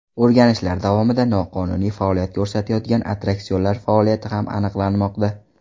O‘rganishlar davomida noqonuniy faoliyat ko‘rsatayotgan attraksionlar faoliyati ham aniqlanmoqda.